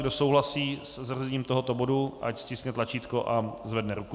Kdo souhlasí se zařazením tohoto bodu, ať stiskne tlačítko a zvedne ruku.